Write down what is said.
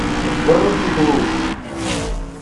вруби глушь